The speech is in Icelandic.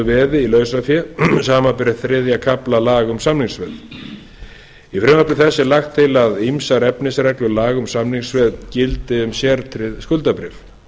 í lausafé samanber þriðja kafla laga um samningsveð í frumvarpi þessu er lagt til að ýmsar efnisreglur laga um samningsveð gildi um sértryggð skuldabréf